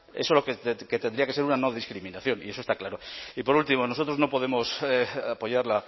eso que tendría que ser una no discriminación y eso está claro y por último nosotros no podemos apoyar